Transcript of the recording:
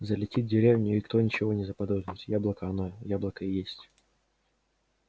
залетит в деревню и кто ничего не заподозрит яблоко она яблоко и есть